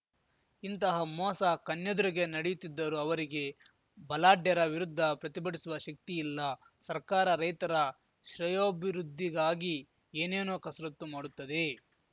ಇಂತಹ ಮೋಸ ಕಣ್ಣೆದುರಿಗೇ ನಡೆಯುತ್ತಿದ್ದರೂ ಅವರಿಗೆ ಬಲಾಢ್ಯರ ವಿರುದ್ಧ ಪ್ರತಿಭಟಿಸುವ ಶಕ್ತಿಯಿಲ್ಲ ಸರ್ಕಾರ ರೈತರ ಶ್ರೇಯೋಭಿವೃದ್ಧಿಗಾಗಿ ಏನೇನೋ ಕಸರತ್ತು ಮಾಡುತ್ತದೆ